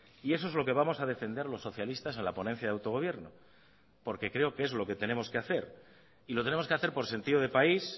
y eso es lo que vamos a defender los socialistas a la ponencia de autogobierno porque creo que es lo que tenemos que hacer y lo tenemos que hacer por sentido de país